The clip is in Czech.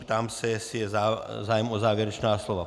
Ptám se, jestli je zájem o závěrečná slova.